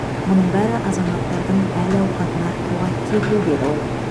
мұның бәрі азаматтардың әл ауқатын арттыруға кепіл деді ол